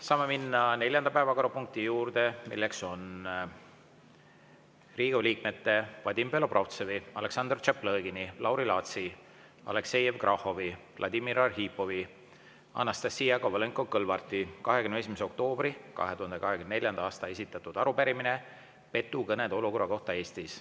Saame minna neljanda päevakorrapunkti juurde, milleks on Riigikogu liikmete Vadim Belobrovtsevi, Aleksandr Tšaplõgini, Lauri Laatsi, Aleksei Jevgrafovi, Vladimir Arhipovi, Anastassia Kovalenko-Kõlvarti 21. oktoobril 2024. aastal esitatud arupärimine petukõnede olukorra kohta Eestis.